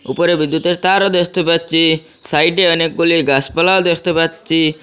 উপরে বিদ্যুতের তারও দেখতে পাচ্ছি সাইডে অনেক গুলি গাসপালাও দেখতে পাচ্ছি।